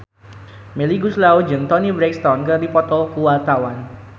Melly Goeslaw jeung Toni Brexton keur dipoto ku wartawan